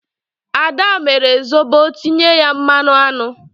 Ad mere Zobo tinye ya mmanụ aṅụ.